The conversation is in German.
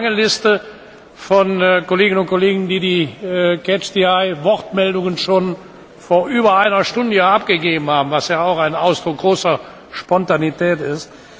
Ich habe eine lange Liste von Kolleginnen und Kollegen, die ihre Wortmeldungen schon vor über einer Stunde abgegeben haben, was ja auch ein Ausdruck großer Spontanität ist.